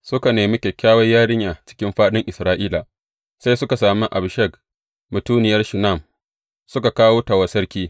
Suka nemi kyakkyawar yarinya cikin fāɗin Isra’ila, sai suka sami Abishag, mutuniyar Shunam, suka kawo ta wa sarki.